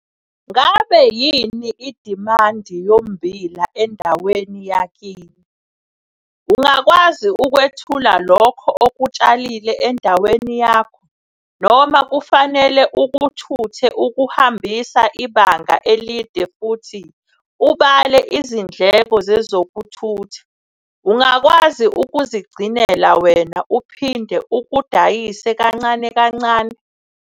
Ngabe yini idimandi yommbila endaweni yakini? Ungakwazi ukwethula lokho okutshalile endaweni yakho, noma kufanele ukuthuthe ukuhambisa ibanga elide futhi ubale izindleko zezokuthutha? Ungakwazi ukuzigcinela wena uphinde ukudayise kancane kancane?